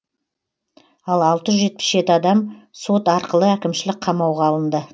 ал алты жүз жетпіс жеті адам сот арқылы әкімшілік қамауға алынды